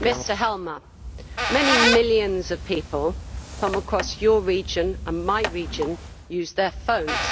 Mr Helmer, many millions of people from across your region and my region use their phones.